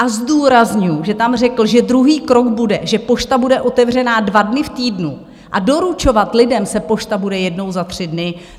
A zdůrazňuju, že tam řekl, že druhý krok bude, že pošta bude otevřená dva dny v týdnu, a doručovat lidem se pošta bude jednou za tři dny.